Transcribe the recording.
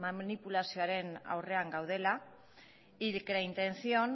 manipulazioaren aurrean gaudela y que la intención